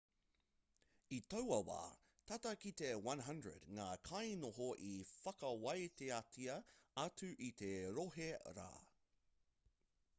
i taua wā tata ki te 100 ngā kainoho i whakawāteatia atu i te rohe rā